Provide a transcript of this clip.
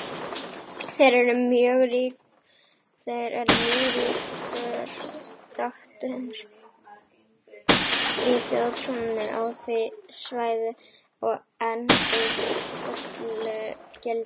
Þeir eru mjög ríkur þáttur í þjóðtrúnni á því svæði og enn í fullu gildi.